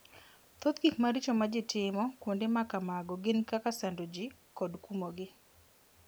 Thoth gik maricho ma ji timo kuonde ma kamago gin kaka sando ji kod kumogi.